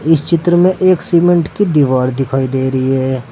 इस चित्र में एक सीमेंट की दीवार दिखाई दे रही है।